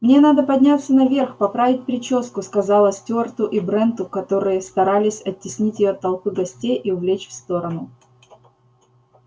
мне надо подняться наверх поправить причёску сказала стюарту и бренту которые старались оттеснить её от толпы гостей и увлечь в сторону